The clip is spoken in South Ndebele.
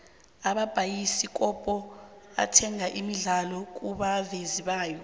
amabhayisikopo athenga imidlalo kubavezi bayo